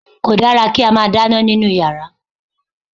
Kò dára kí a máa dáná nínú yàrá